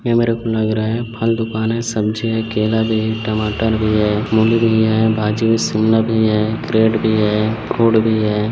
ये मेरे को लग रहा है फल दुकान है सब्जी है केला भी है टमाटर भी है मूली भी है भाजी भी--शिमला भी क्रेट भी है है।